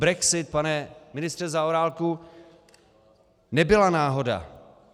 Brexit, pane ministře Zaorálku, nebyla náhoda.